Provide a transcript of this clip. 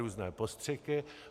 Různé postřiky.